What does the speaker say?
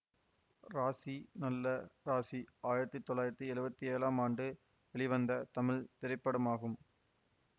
ராசி நல்ல ராசி ஆயிரத்தி தொள்ளாயிரத்தி எழுவத்தி ஏழாம் ஆண்டு வெளிவந்த தமிழ் திரைப்படமாகும்